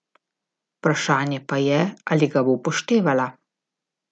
Vprašanje pa je, ali ga bo upoštevala.